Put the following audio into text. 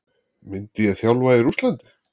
Myndi ég þjálfa í Rússlandi?